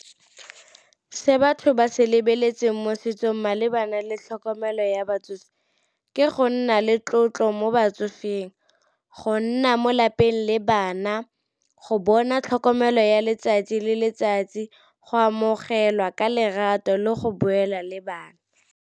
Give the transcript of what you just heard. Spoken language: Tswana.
Se batho ba se lebeletseng mo setsong malebana le tlhokomelo ya batsofe, ke go nna le tlotlo mo batsofeng, go nna mo lapeng le bana, go bona tlhokomelo ya letsatsi le letsatsi, go amogelwa ka lerato le go boela le bana.